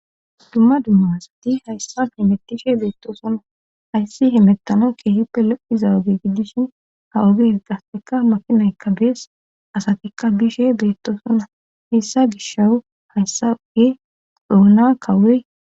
dumma dumma asati hayssa hemettishe beetto sonna hayssi hemettano keehippe lo7izawage giddishin ha oges qasseka makinay kabees asatikka bishe beettosonna hessa gishawu hayssa oge dhoona kawey